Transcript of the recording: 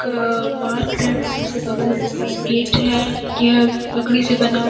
अ park type में है इसके बगल में एक गेट है। यह लकड़ी से बना हु --